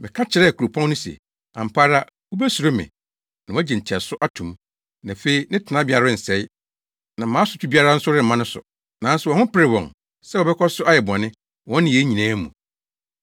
Meka kyerɛɛ kuropɔn no se, ‘ampa ara wubesuro me na woagye nteɛso ato mu!’ Na afei ne tenabea rensɛe, na mʼasotwe biara nso remma no so. Nanso wɔn ho peree wɔn sɛ wɔbɛkɔ so ayɛ bɔne, wɔn nneyɛe nyinaa mu.